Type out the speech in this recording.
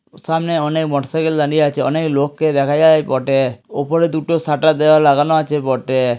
সামনে অনেক motorcycle দাঁড়িয়ে আছে। অনেক লোককে দেখা যায় বটে। উপরে দুটো সাটার লাগানো আছে বটে।